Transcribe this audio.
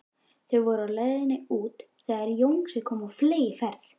Þau voru á leið út þegar Jónsi kom á fleygiferð.